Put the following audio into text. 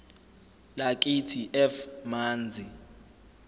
lakithi f manzi